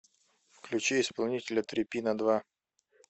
включи исполнителя трипинадва